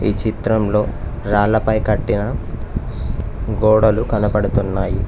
ఈ చిత్రంలో రాళ్లపై కట్టిన గోడలు కనపడుతున్నాయి.